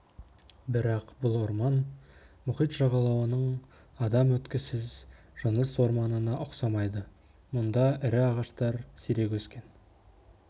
бірақ бұл орман мұхит жағалауының адам өткісіз жыныс орманына ұқсамайды мұнда ірі ағаштар сирек өскен